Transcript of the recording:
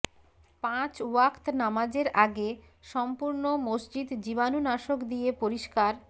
পাঁচ ওয়াক্ত নামাজের আগে সম্পূর্ণ মসজিদ জীবানুণাশক দিয়ে পরিষ্কার